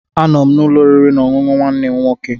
Anọ m n'ụlọ oriri na ọṅụṅụ nwanne m nwoke.